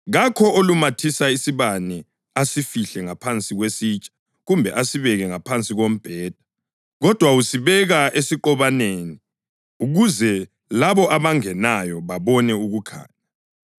“Kakho olumathisa isibane asifihle ngaphansi kwesitsha kumbe asibeke ngaphansi kombheda. Kodwa usibeka esiqobaneni ukuze labo abangenayo babone ukukhanya.